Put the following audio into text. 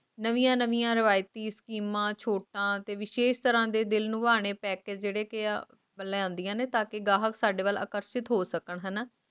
ਨਵੀਆਂ ਨਵੀਆਂ ਰਵਾਇਤੀ ਫ਼ਿਲਮਾਂ ਰਿਵਾਇਤੀ ਸਚੇਮੰ ਤੇ ਦਿਲ ਲੁਭਾਨ ਆਲੇ package ਲੈਂਦੀਆਂ ਨੇ ਕ ਘਰਾਹਕ ਇਨ੍ਹਾਂ ਦੇ ਬਾਰੇ ਆਕਰਸ਼ਿਕ ਹੋਣ